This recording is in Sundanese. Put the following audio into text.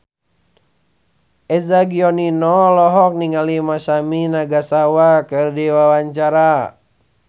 Eza Gionino olohok ningali Masami Nagasawa keur diwawancara